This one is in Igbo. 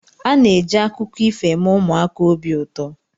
A na-eji akụkọ ifo eme ụmụaka obi ụtọ.